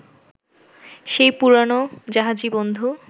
সেই পুরনো জাহাজী বন্ধু